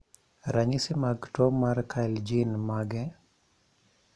ranyisi mag tuo mar Kyrle gin mage?